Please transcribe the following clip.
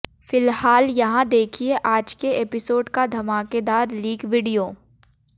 फिलहाल यहां देखिए आज के एपिसोड का धमाकेदार लीक वीडियो